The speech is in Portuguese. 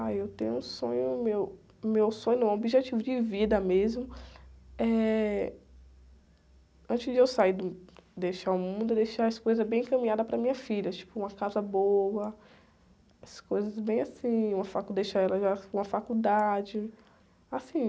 Ah, eu tenho um sonho, meu, meu sonho não, objetivo de vida mesmo é... Antes de eu sair do, deixar o mundo, é deixar as coisas bem encaminhadas para minha filha, tipo uma casa boa, as coisas bem assim, uma facu, deixar ela já com a faculdade, assim,